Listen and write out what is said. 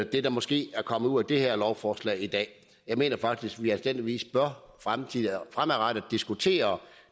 det der måske er kommet ud af det her lovforslag i dag jeg mener faktisk at vi anstændigvis fremadrettet bør diskutere